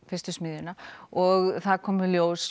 fyrstu smiðjuna og það kom í ljós